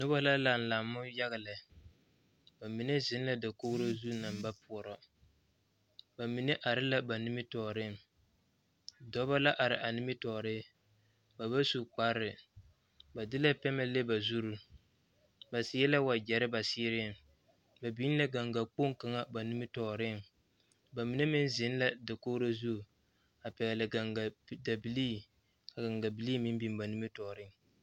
Noba la laŋ lammo yaga lɛ ba mine zeŋ la dakoo zu naŋ ba poɔrɔ ba mine are la ba nimitɔɔreŋ dɔba la are a nimitɔɔre ba ba su kparɛɛ ba de la pɛmɛ le ba zuri ba seɛ la wagyɛre ba seereŋ ba biŋ la gaŋga kpoŋ kaŋ ba nimitɔɔreŋ ba mine meŋ zeŋ la dakoo zu a pɛgele gaŋga dabilii ka gaŋga bilii meŋ biŋ ba nimitɔɔreŋ